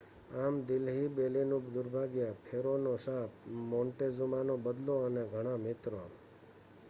આમ દિલ્હી બેલીનું દુર્ભાગ્ય ફેરોનો શાપ મોન્ટેઝુમાનો બદલો અને ઘણા મિત્રો